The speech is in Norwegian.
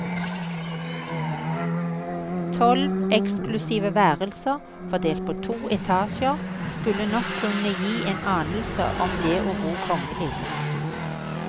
Tolv eksklusive værelser, fordelt på to etasjer, skulle nok kunne gi en anelse om det å bo kongelig.